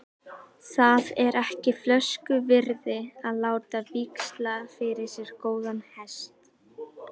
Það er ekki flösku virði að láta víxla fyrir sér góðan hest.